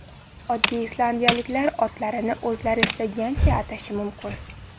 Oddiy islandiyaliklar otlarini o‘zlari istagancha atashi mumkin.